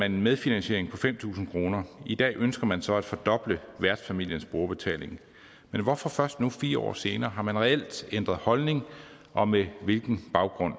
en medfinansiering på fem tusind kroner i dag ønsker man så at fordoble værtsfamiliens brugerbetaling men hvorfor først nu fire år senere har man reelt ændret holdning og med hvilken baggrund